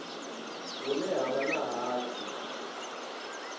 hune ha vha na hatsi